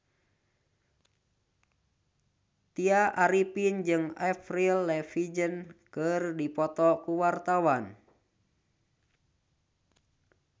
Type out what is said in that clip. Tya Arifin jeung Avril Lavigne keur dipoto ku wartawan